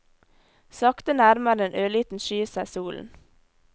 Sakte nærmer en ørliten sky seg solen.